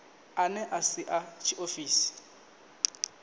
ane a si a tshiofisi